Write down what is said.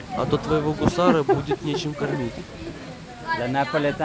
а то твоего гусара будет нечем кормить